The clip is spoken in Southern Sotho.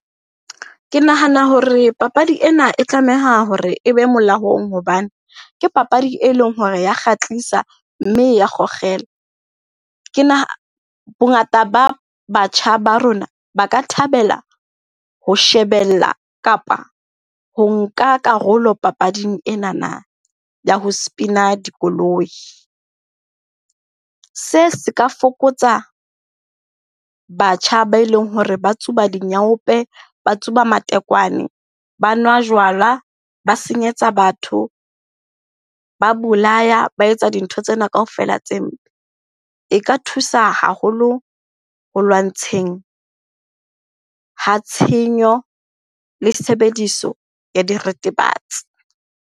Ke nahana hore papadi ena e tlameha hore e be molaong hobane ke papadi e leng hore ya kgatlisa, mme ya . Ke , bongata ba batjha ba rona ba ka thabela ho shebella kapa ho nka karolo papading enana ya ho spina dikoloi. Se se ka fokotsa batjha ba e leng hore ba tsuba dinyaope, ba tsuba matekwane, ba nwa jwala, ba senyetsa batho, ba bolaya, ba etsa dintho tsena ka kaofela tse mpe. E ka thusa haholo ho lwantsheng ha tshenyo le tshebediso ya diretebatsi.